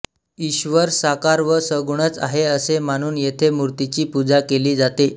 ईश्वर साकार व सगुणच आहे असे मानून येथे मूर्तीची पूजा केली जाते